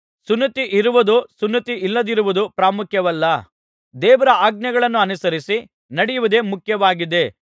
ಸುನ್ನತಿ ಇರುವುದೋ ಸುನ್ನತಿ ಇಲ್ಲದಿರುವುದೋ ಪ್ರಾಮುಖ್ಯವಲ್ಲ ದೇವರ ಆಜ್ಞೆಗಳನ್ನು ಅನುಸರಿಸಿ ನಡೆಯುವುದೇ ಮುಖ್ಯವಾಗಿದೆ